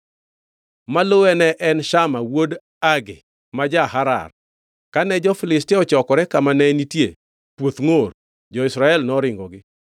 Maluwe ne en Shama wuod Agee ma ja-Harar. Kane jo-Filistia ochokore kama ne nitie puoth ngʼor, jo-Israel noringogi.